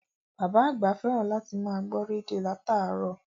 Bàbá àgbà fẹ́ràn láti máa gbọ́ rédíò láràárọ̀